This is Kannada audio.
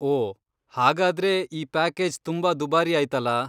ಓ ಹಾಗಾದ್ರೆ ಈ ಪ್ಯಾಕೇಜ್ ತುಂಬಾ ದುಬಾರಿಯಾಯ್ತಲ.